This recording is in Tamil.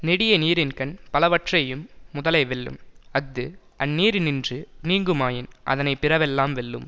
நெடிய நீரின்கண் பலவற்றையும் முதலை வெல்லும் அஃது அந்நீரினின்று நீங்குமாயின் அதனை பிறவெல்லாம் வெல்லும்